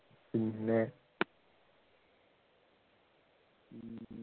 പിന്നെ